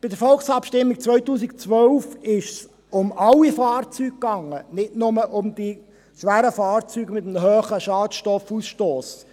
Bei der Volksabstimmung 2012 ging es um alle Fahrzeuge und nicht nur um schwere Fahrzeuge mit einem hohen Schadstoffausstoss.